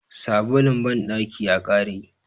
sabulun bandaki ya kare